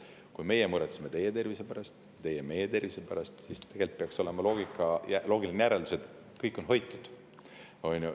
Kui meie muretseme teie tervise pärast ja teie meie tervise pärast, siis tegelikult peaks olema loogiline järeldus, et kõik on hoitud.